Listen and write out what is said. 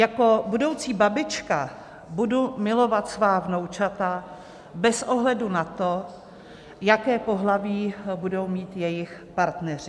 Jako budoucí babička budu milovat svá vnoučata bez ohledu na to, jaké pohlaví budou mít jejich partneři.